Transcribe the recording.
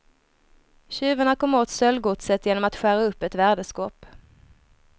Tjuvarna kom åt stöldgodset genom att skära upp ett värdeskåp.